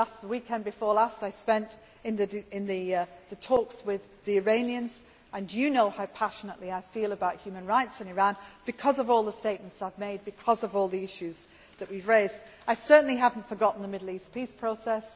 The weekend before last I spent in talks with the Iranians and you know how passionately I feel about human rights in Iran because of all the statements I have made, because of all the issues that we have raised. I certainly have not forgotten the Middle East peace process.